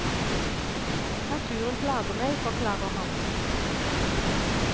Naturen plager meg, forklarer han.